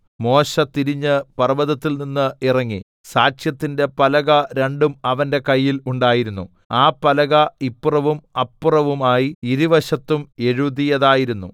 മോശെ തിരിഞ്ഞ് പർവ്വതത്തിൽനിന്ന് ഇറങ്ങി സാക്ഷ്യത്തിന്റെ പലക രണ്ടും അവന്റെ കയ്യിൽ ഉണ്ടായിരുന്നു ആ പലക ഇപ്പുറവും അപ്പുറവുമായി ഇരുവശത്തും എഴുതിയതായിരുന്നു